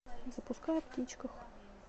запускай о птичках